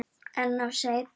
En of seinn.